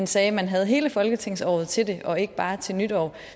sagde at man havde hele folketingsåret til det og ikke bare til nytår